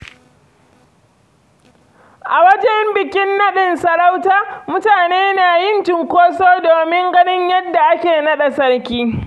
A wajen bikin naɗin sarauta, mutane na yin cunkoso domin ganin yadda ake naɗa sarki.